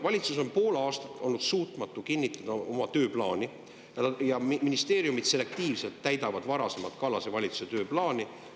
Valitsus pole suutnud pool aastat oma tööplaani kinnitada ja ministeeriumid täidavad selektiivselt varasemat Kallase valitsuse tööplaani.